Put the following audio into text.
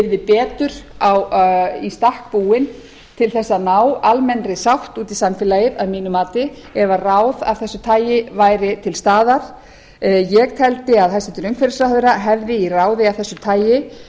yrði betur í stakk búin til þess að ná almennri sátt út í samfélagið að mínu mati ef ráð af þessu tagi væri til staðar ég teldi að hæstvirtur umhverfisráðherra hefði í ráði af þessu tagi